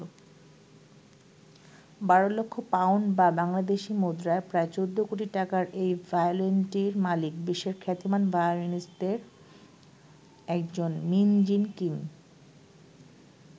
বারো লক্ষ পাউন্ড বা বাংলাদেশি মূদ্রায় প্রায় ১৪ কোটি টাকার এই ভায়োলিনটির মালিক বিশ্বের খ্যাতিমান ভায়োলিনিষ্টদের একজন মিন জিন কিম।